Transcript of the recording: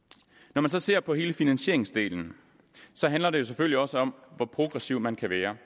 når man så ser på hele finansieringsdelen handler det selvfølgelig også om hvor progressiv man kan være